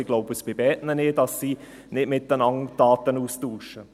ich glaube bei beiden nicht, dass sie nicht untereinander Daten austauschen.